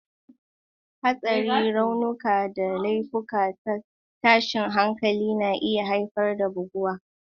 Hatsari, raunuka, da laifukan tashin hankali na iya haifar da buguwa.